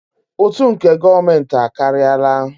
Ụtụ nke gọọmentị a akarịala.